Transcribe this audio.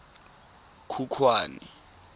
khukhwane